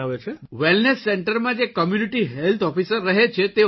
જી wellness સેન્ટરમાં જે community health officer રહે છે તેઓ